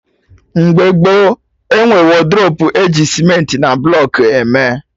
Mgbe gboo, enwe wodrobu eji cementị na blọkụ eme